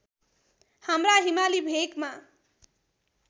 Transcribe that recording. हाम्रा हिमाली भेकमा